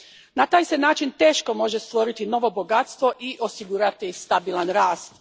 Na taj se način teško može stvoriti novo bogatstvo i osigurati stabilan rast.